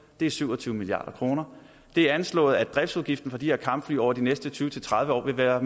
det er syv og tyve milliard kroner det er anslået at driftsudgiften for de her kampfly over de næste tyve til tredive år vil være